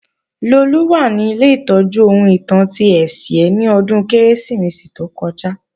Lolú wà ní ilé ìtọ́jú ohun ìtàn ti Ẹ̀sìẹ́ ni ọdún Kérésìmesì tó kọjá